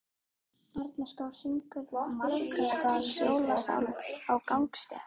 Barnakór syngur margraddaðan jólasálm á gangstétt.